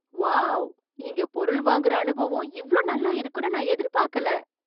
Wow! இங்கே பொருள் வாங்குற அனுபவம் இவ்வளவு நல்லா இருக்கும்னு நான் எதிர்பார்க்கல!